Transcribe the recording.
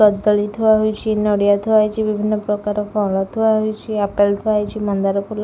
କଦଳୀ ଥୁଆ ହୋଇଛି ନଡିଆ ଥୁଆ ହୋଇଛି ବିଭିନ୍ନ ପ୍ରକାର ଫଳ ଥୁଆ ହୋଇଛି ଆପେଲ ଥୁଆ ହୋଇଛି ମନ୍ଦାର ଫୁଲ--